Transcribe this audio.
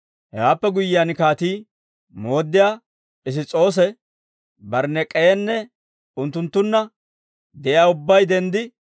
Hewaappe guyyiyaan kaatii, mooddiyaa Piss's'oose, Bariniik'enne, unttunttunna de'iyaa ubbay denddi,